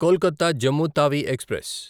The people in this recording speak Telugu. కొల్కత జమ్ము తావి ఎక్స్ప్రెస్